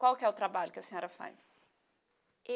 Qual que é o trabalho que a senhora faz?